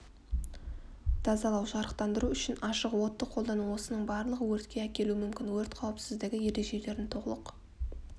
тазалау жарықтандыру үшін ашық отты қолдану осының барлығы өртке әкелуі мүмкін өрт қауіпсіздігі ережелерін толық